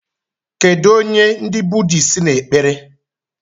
Kedu onye ndi Bhuddhists n'ekpere?